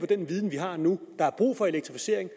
den viden vi har nu der er brug for elektrificering